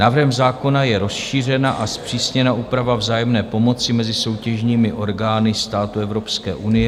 Návrhem zákona je rozšířena a zpřísněna úprava vzájemné pomoci mezi soutěžními orgány států Evropské unie.